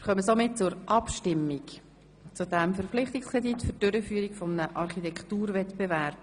Somit kommen wir zur Abstimmung über den Verpflichtungskredit zur Durchführung eines Architekturwettbewerbs.